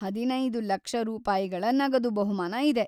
ಹದಿನೈದು ಲಕ್ಷ ರೂಪಾಯಿಗಳ ನಗದು ಬಹುಮಾನ ಇದೆ.